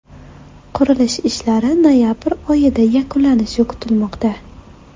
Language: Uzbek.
Qurilish ishlari noyabr oyida yakunlanishi kutilmoqda.